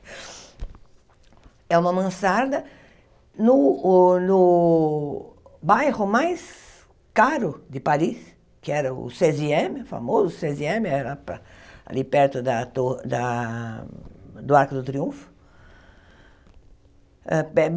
É uma mansarda no o no bairro mais caro de Paris, que era o seis e ême, famoso seis e ême, era para ali perto da torre da do Arco do Triunfo.